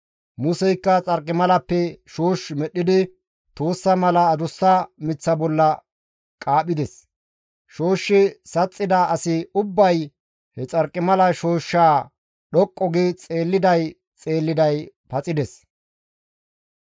Museykka xarqimalappe shoosh medhdhidi tuussa mala adussa miththa bolla qaaphides; shooshshi saxxida asi ubbay he xarqimala shooshshaa dhoqqu gi xeelliday xeelliday paxides.